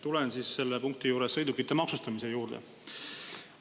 Tulen selle punkti juures sõidukite maksustamise juurde.